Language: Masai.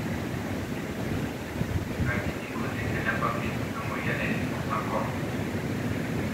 Kaji eikoni tenebaki emoyian e liposarcoma?